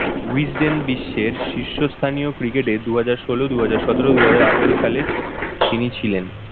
wisden বিশ্বের শীর্ষ স্থানীয় cricket এ দুহাজার ষোলো, দুহাজার সতেরো, দুহাজার আঠারো সালে তিনি ছিলেন